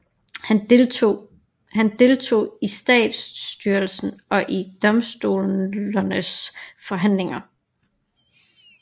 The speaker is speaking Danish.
Han deltog i statsstyrelsen og i domstolernes forhandlinger